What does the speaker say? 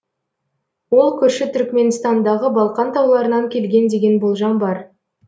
ол көрші түркіменстандағы балқан тауларынан келген деген болжам бар